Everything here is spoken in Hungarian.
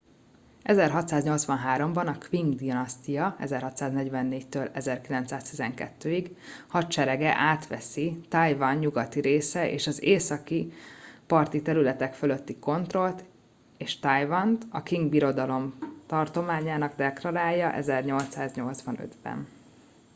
1683-ban a qing dinasztia 1644-1912 hadserege átveszi taiwan nyugati része és az északi parti területek fölötti kontrollt és taiwant a qing birodalom tartományának deklarálja 1885-ben